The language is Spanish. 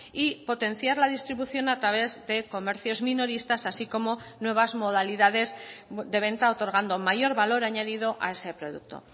y potenciar la distribución a través de comercios minoristas así como nuevas modalidades de venta otorgando mayor valor añadido a ese producto